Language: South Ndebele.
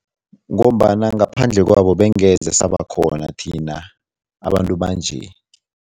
Ngombana ngaphandle kwabo bengeze sabakhona thina abantu banje.